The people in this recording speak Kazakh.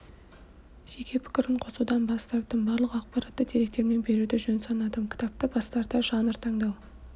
жеке пікірін қосудан бас тарттым барлық ақпаратты деректермен беруді жөн санадым кітапты бастарда жанр таңдау